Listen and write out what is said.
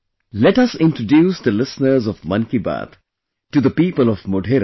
Let us also introduce the listeners of 'Mann Ki Baat' to the people of Modhera